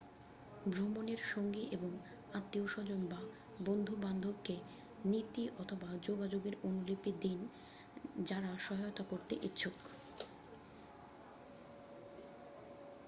ভ্রমণের সঙ্গী এবং আত্মীয়স্বজন বা বন্ধুবান্ধবকে নীতি / যোগাযোগের অনুলিপি দিন যারা সহায়তা করতে ইচ্ছুক